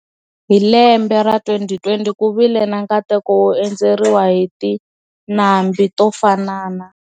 Hi lembe ra 2020 ku vile na nkateko wo endzeriwa hi tinlambi to fanana.